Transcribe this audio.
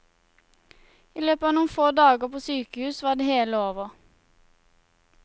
I løpet av noen få dager på sykehus var det hele over.